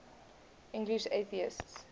english atheists